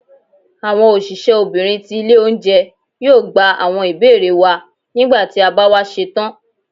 awọn osìsé obinrín tí ilé oúnjẹ, yóò gbá awọn ibere wa, nígbàtí ti a ba wa setán.